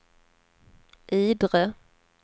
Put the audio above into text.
Idre